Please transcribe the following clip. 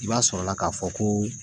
I b'a sɔrɔla k'a fɔ ko